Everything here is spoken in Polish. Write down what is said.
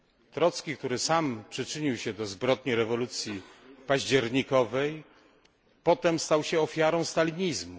Trocki, który sam przyczynił się do zbrodni rewolucji październikowej, potem stał się ofiarą stalinizmu.